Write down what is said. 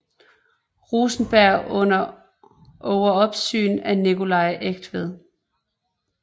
Rosenberg under overopsyn af Nicolai Eigtved